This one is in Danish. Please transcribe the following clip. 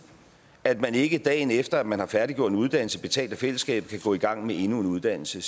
at man ikke dagen efter at man har færdiggjort en uddannelse betalt af fællesskabet kan gå i gang med endnu en uddannelse